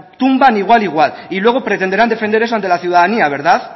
tumban igual igual y luego pretenderán defender eso ante la ciudadanía verdad